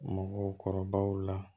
Mɔgɔkɔrɔbaw la